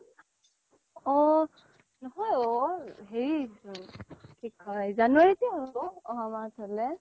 অ নহয় অ হেৰিত january ত' এই হ'ব অহা মাহত হ'লে